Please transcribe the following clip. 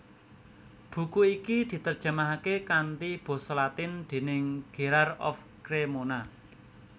Buku iki diterjemahake kanthi basa latin déning Gherard of Cremona